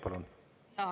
Palun!